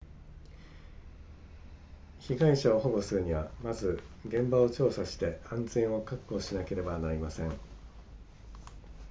被害者を保護するにはまず現場を調査して安全を確保しなければなりません